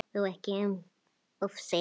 Þó ekki um of segir